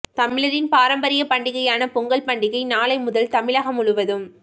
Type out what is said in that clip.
தமிழரின் பாரம்பரிய பண்டிகையான பொங்கல் பண்டிகை நாளை முதல் தமிழகம் முழுவதும்